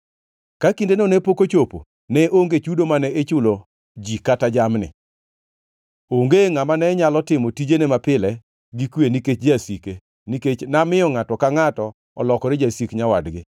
Ka kindeno ne pok ochopo, ne onge chudo mane ichulo ji kata jamni. Onge ngʼama ne nyalo timo tijene mapile gi kwe nikech jasike, nikech namiyo ngʼato ka ngʼato olokore jasik nyawadgi,